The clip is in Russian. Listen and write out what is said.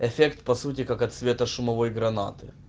эффект по сути как от светошумовой гранаты